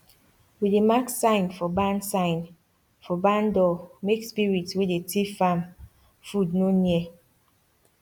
we dey mark sign for barn sign for barn door make spirit wey dey thief farm food no near